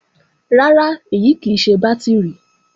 Rárá, èyí kì í ṣe bátìrì